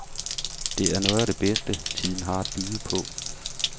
Det noget af det bedste, tiden har at byde på.